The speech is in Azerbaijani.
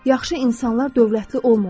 Yaxşı insanlar dövlətli olmurlar.